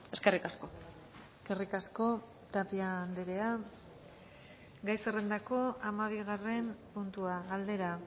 eskerrik asko eskerrik asko tapia andrea gai zerrendako hamabigarren puntua galdera